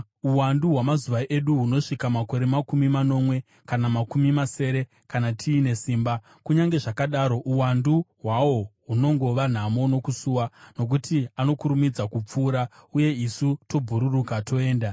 Uwandu hwamazuva edu hunosvika makore makumi manomwe, kana makumi masere, kana tiine simba; kunyange zvakadaro uwandu hwawo hunongova nhamo nokusuwa, nokuti anokurumidza kupfuura, uye isu tobhururuka toenda.